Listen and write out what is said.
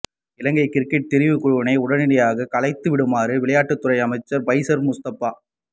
இலங்கை cricket தெரிவுக்குழுவினை உடனடியாக கலைத்துவிடுமாறு விளையாட்டுத்துறை அமைச்சர் பைசர் முஸ்தபா